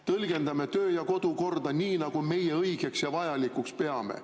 Tõlgendame töö- ja kodukorda nii, nagu meie õigeks ja vajalikuks peame.